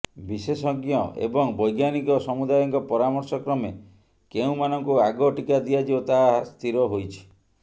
ବିଶେଷଜ୍ଞ ଏବଂ ବୈଜ୍ଞାନିକ ସମୁଦାୟଙ୍କ ପରାମର୍ଶ କ୍ରମେ କେଉଁମାନଙ୍କୁ ଆଗ ଟିକା ଦିଆଯିବ ତାହା ସ୍ଥିର ହୋଇଛି